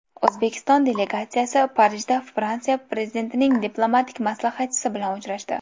O‘zbekiston delegatsiyasi Parijda Fransiya Prezidentining diplomatik maslahatchisi bilan uchrashdi.